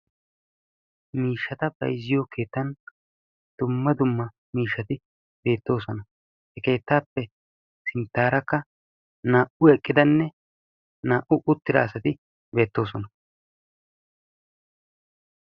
Miishshata bayzziyo keettan dumma dumma miishsharo beettoosona. He keettappe sinttarakka naa"u eqqidanne naa"u uttida asati beettoosona